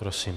Prosím.